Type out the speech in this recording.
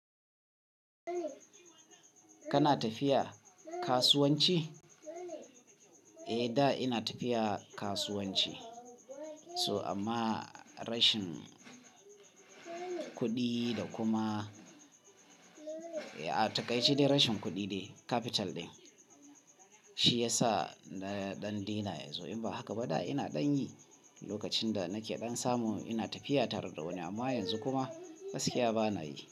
Kana tafiya kasuwanci? Eh da ina tafiya kasuwanci so amma rashin kuɗi da kuma a taƙaice dai rashin kuɗi capital din shi yasa na ɗan dena yanzu. In ba haka ba da ina ɗan yi lokacin da nake ɗan samu ina tafiya tare da wani amma yanzu kuma gaskiya bana yi.